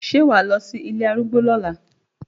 Ṣé wà á lọ sí ilé arúgbó lọ́la?